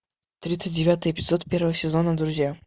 тридцать девятый эпизод первого сезона друзья